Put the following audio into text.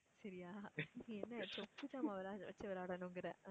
சரியா? நீ என்னை சொப்பு ஜாமான் வச்சு விளையாடனுங்குற